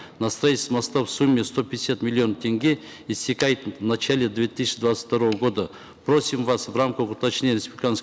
на строительство моста в сумме сто пятьдесят миллионов тенге истекает в начале две тысячи двадцать второго года просим вас в рамках уточнения республиканского